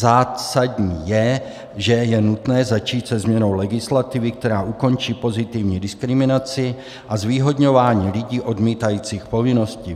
Zásadní je, že je nutné začít se změnou legislativy, která ukončí pozitivní diskriminaci a zvýhodňování lidí odmítajících povinnosti.